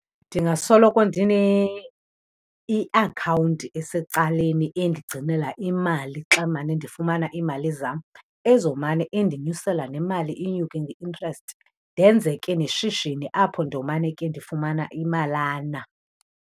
Ndingasoloko iakhawunti esecaleni endigcinela imali xa ndimane ndifumana iimali zam, ezomane indinyusela nemali inyuke nge-interest, ndenze ke neshishini apho ndomane ke ndifumana imalana.